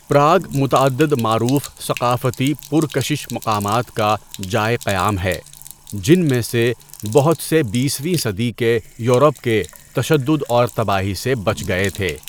Prague متعدد معروف ثقافتی پرکشش مقامات کا جائے قیام ہے، جن میں سے بہت سے بیس ویں صدی کے یورپ کے تشدد اور تباہی سے بچ گئے تھے۔